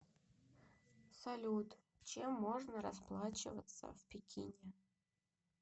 салют чем можно расплачиваться в пекине